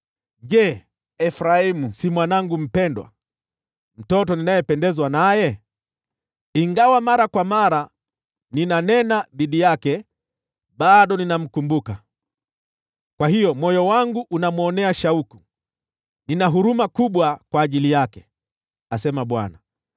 Je, Efraimu si mwanangu mpendwa, mtoto ninayependezwa naye? Ingawa mara kwa mara ninanena dhidi yake, bado ninamkumbuka. Kwa hiyo moyo wangu unamwonea shauku, nina huruma kubwa kwa ajili yake,” asema Bwana .